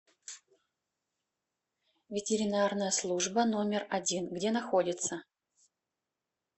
ветеринарная служба номер один где находится